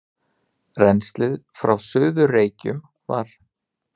Rennslið frá Suður-Reykjum var